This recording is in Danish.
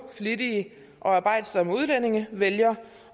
flittige og arbejdsomme udlændinge vælge